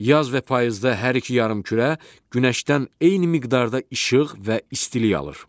Yaz və payızda hər iki yarımkürə günəşdən eyni miqdarda işıq və istilik alır.